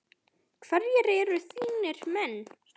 Hverjir eru þínir menn?